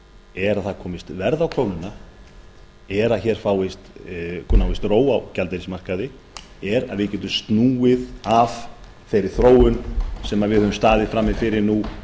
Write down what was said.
er að það komist verð á krónuna er að hér náist ró á gjaldeyrismarkaði er að við getum snúið af þeirri þróun sem við höfum staðið frammi fyrir nú